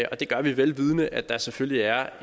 og det har vi vel vidende at der selvfølgelig er